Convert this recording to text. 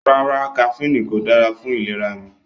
No, caffine is not good for my health